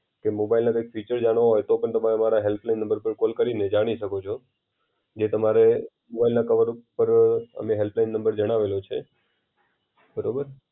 કે મોબાઈલના કૈક ફીચર જાણવા હોય તો પણ તમે અમારા હેલ્પલાઈન નંબર ઉપર કોલ કરીને જાણી શકો છો. જે તમારો મોબાઈલના કવર ઉપર અમે હેલ્પલાઇન નંબર જણાવેલો છે. બરાબર